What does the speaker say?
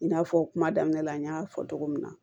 I n'a fɔ kuma daminɛ la n y'a fɔ cogo min na